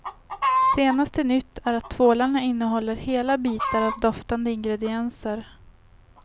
Senaste nytt är att tvålarna innehåller hela bitar av doftande ingredienser.